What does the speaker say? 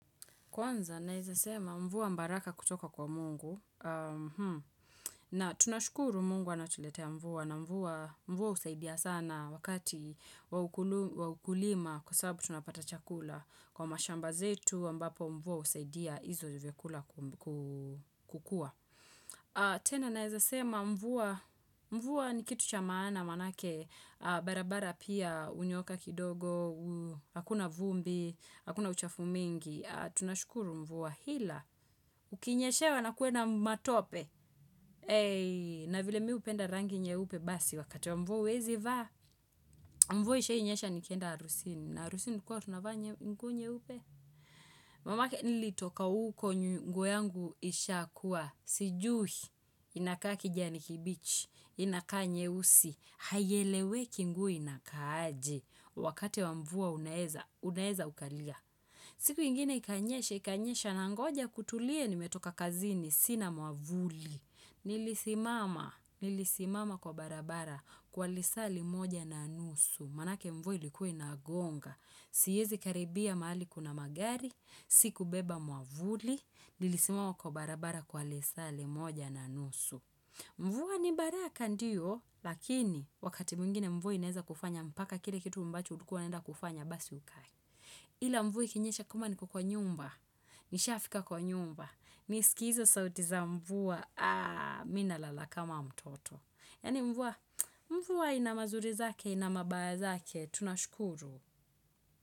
Kwanza, naeza sema mvua baraka kutoka kwa mungu. Na tunashukuru mungu anatuletea mvua na mvua husaidia sana wakati wa ukulima kwa sababu tunapata chakula. Kwa mashamba zetu ambapo mvua husaidia hizo vyakula kukua. Tena, naeza sema mvua ni kitu cha maana maanake, barabara pia, hunyooka kidogo, hakuna vumbi, hakuna uchafu mingi. Tunashukuru mvua ila ukinyeshewa na kuwe na matope na vile mimi hupenda rangi nyeupe basi wakati wa mvua huwezi vaa mvua ishai nyesha nikienda harusini na harusini tulikua tunavaa nguo nyeupe mamake nilitoka huko nguo yangu isha kuwa sijui inakaa kijani kibichi inakaa nyeusi haieleweki nguo inakaa aje wakati wa mvua unaeza unaeza ukalia siku ingine ikanyesha Ikanyesha nangoja kutulie nimetoka kazini sina mwavuli. Nilisimama, nilisimama kwa barabara kwa lisaa limoja na nusu. Maanake mvua likua inagonga. Siezi karibia mahali kuna magari, sikubeba mwavuli. Nilisimama kwa barabara kwa lisaa limoja na nusu. Mvua ni baraka ndiyo, lakini wakati mwingine mvua inaeza kufanya mpaka kile kitu ambacho ulikua unaenda kufanya basi ukae Ila mvui ikinyesha kama niko kwa nyumba. Nishafika kwa nyumba, nisikie hizo sauti za mvua mimi nalala kama mtoto. Yaani mvua, mvua ina mazuri zake, ina mabaya zake, tunashukuru.